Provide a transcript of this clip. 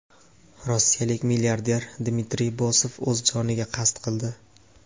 Rossiyalik milliarder Dmitriy Bosov o‘z joniga qasd qildi.